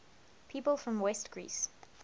people from west greece